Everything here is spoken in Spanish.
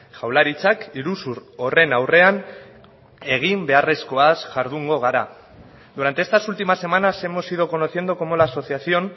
jaurlaritzak iruzur horren aurrean egin beharrezkoaz jardungo gara durante estas últimas semanas hemos ido conociendo cómo la asociación